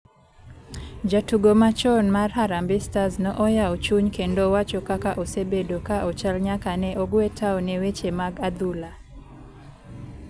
Jatugo machon mar harambee stars no oyawo chuny kendo wacho kaka osebedo ka ochal nyaka ne ogwe tao ne weche mag adhula.